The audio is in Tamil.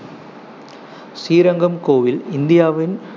ஸ்ரீரங்கம் கோயில் இந்தியாவின்